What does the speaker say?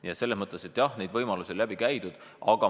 Nii et neid võimalusi on läbi arutatud.